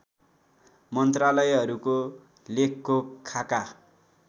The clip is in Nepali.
मन्त्रालयहरूको लेखको खाका